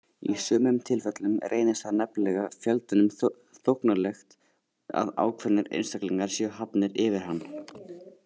Í sumum tilfellum reynist það nefnilega fjöldanum þóknanlegt að ákveðnir einstaklingar séu hafnir yfir hann.